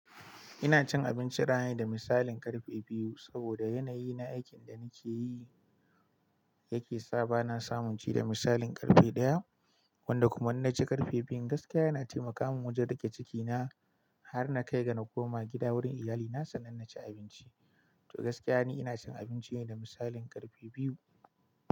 Ina cin abinci rana ne da misalin karfe biyu saboda yanayi na aikin da nake yi yake sa ba na samun ci da misalin karfe ɗaya, wanda kuma in na ci karfe biyun gaskiya yana taimakawa wajen rage cikina har na kai ga na koma gida wurin iyalina sannan na ci abinci. To gaskiya ne ina cin abinci ne da misalin karfe biyu.